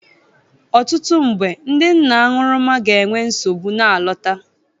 Ọtụtụ mgbe, ndị nna aṅụrụma ga-enwe nsogbu na-alọta